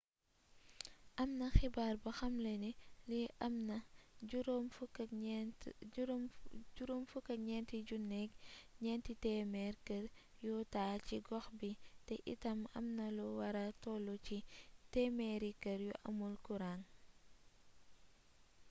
amna xibaar bu xamle ni li amna 9400 kër yu taa ci gox bii te itam amna lu wara tollu ci 100 kër yu amul kuuraŋ